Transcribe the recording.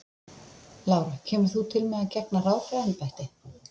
Lára: Kemur þú til með að gegna ráðherraembætti?